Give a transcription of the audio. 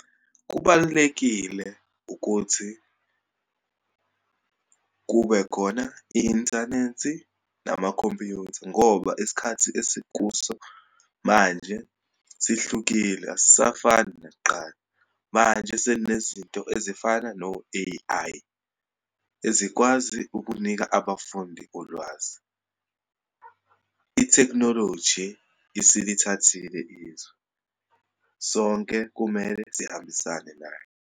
Kubalulekile ukuthi kube khona i-inthanethi namakhompyutha, ngoba isikhathi esikuso manje sihlukile, asisafani nakuqala. Manje seninezinto ezifana no-A_I, ezikwazi ukunika abafundi ulwazi. Ithekhinoloji isilithathile izwe, sonke kumele sihambisane nayo.